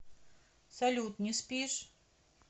салют не спишь